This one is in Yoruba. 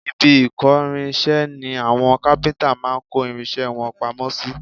Ibi ìkórinṣẹ́ ni àwọn kápíntà máa ń kó irinṣẹ́ wọn pamọ́ sí